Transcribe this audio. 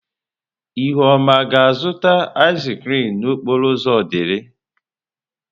Ihuoma ga-azụta ịz krịm n'okporo ụzọ Odili?